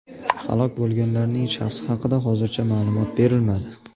Halok bo‘lganlarning shaxsi haqida hozircha ma’lumot berilmadi.